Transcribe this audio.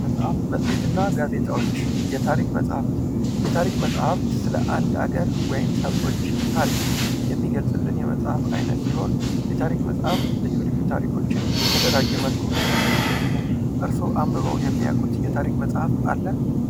መጽሃፍት መሄትና ጋዜጣዎች የታሪክ መጽሃፍት የታሪክ መጽሐፍት ስለ በአንድ ሀገር ወይም ሰዎች ታሪክ የሚገልጽልን የመጽሐፍ አይነት ሲሆን የታሪክ መጽሐፍ ልዩ ልዩ ታሪኮችን በተደራጀ መልኩ የሚያስቀምጥልን ነው። እርስዎ አንብበው የሚያውቁ የታሪክ መጽሐፍ አለ?